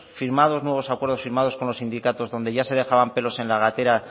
firmados nuevos acuerdos con los sindicatos donde ya se dejaban pelos en la gatera